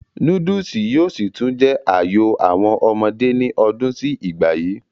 núdùsì yóò sì tún jẹ́ àyò àwọn ọmọdé ní ọdún sí ìgbà yìí